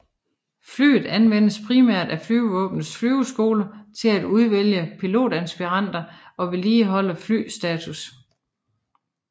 Flyet anvendes primært af Flyvevåbnets flyveskole til at udvælge pilotaspiranter og vedligeholde flyvestatus